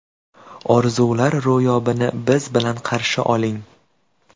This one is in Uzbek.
Orzular ro‘yobini biz bilan qarshi oling!